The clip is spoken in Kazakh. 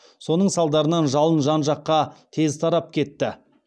соның салдарынан жалын жан жаққа тез тарап кетті